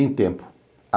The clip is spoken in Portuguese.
Em tempo.